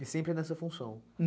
E sempre nessa função?